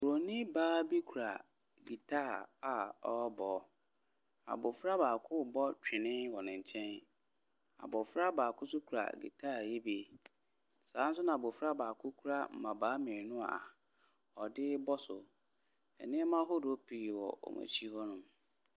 Buroni baa bi kura guitar a ɔrebɔ. Abɔfra baako rebɔ twene wɔ ne nkyɛn. Abɔfra baako nso kura guita yi bi. Saa nso na abɔfra baako kura mmabaa mmienu a ɔde rebɔ so. Nneɛma ahodoɔ pii wɔ wɔn akyi hɔnom.